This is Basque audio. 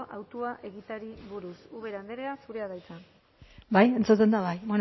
hautua egiteari buruz ubera andrea zurea da hitza bai entzuten da bai